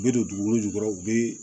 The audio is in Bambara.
U bɛ don dugukolo jukɔrɔ u be